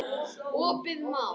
Opið má.